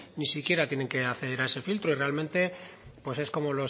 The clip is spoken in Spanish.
ni siquiera tienen que acceder a ese filtro y realmente pues el como